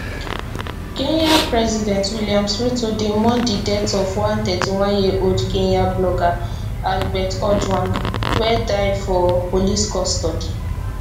kenya president williams ruto dey mourn di death of one thirty one year old kenyan blogger albert ojwang wey die for police custody